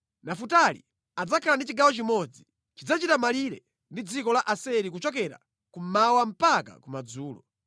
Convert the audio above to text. “Nafutali adzakhala ndi chigawo chimodzi. Chidzachita malire ndi dziko la Aseri kuchokera kummawa mpaka kumadzulo.